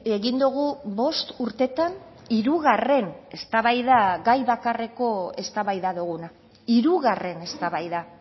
egin dugu bost urteetan hirugarren eztabaida gai bakarreko eztabaida duguna hirugarren eztabaida